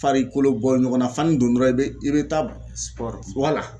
Fari kolo bɔ ɲɔgɔn na fani don dɔrɔn i bɛ i bɛ taa